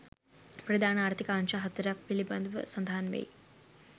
ප්‍රධාන ආර්ථික අංශ හතරක් පිළිබඳව සඳහන් වෙයි.